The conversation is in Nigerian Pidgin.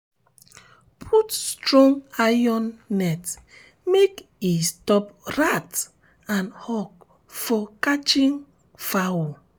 put strong iron net make e stop rat and hawk from catching fowl.